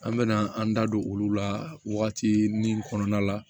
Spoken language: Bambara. An bɛ na an da don olu la wagati min kɔnɔna la